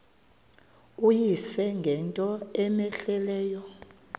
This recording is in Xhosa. uyise ngento cmehleleyo